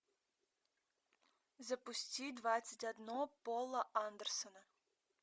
запусти двадцать одно пола андерсона